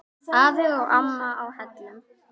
Afi og amma á Hellum.